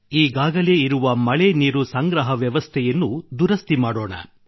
ಈಗಾಗಲೇ ಇರುವ ಮಳೆ ನೀರು ಸಂಗ್ರಹ ವ್ಯವಸ್ಥೆಯನ್ನು ದುರಸ್ಥಿ ಮಾಡಿಸೋಣ